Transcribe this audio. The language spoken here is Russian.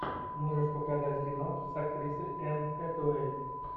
можешь показать кино с актрисой энн хэтэуэй